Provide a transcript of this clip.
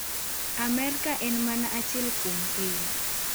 Amerka en mana achiel kuom piny."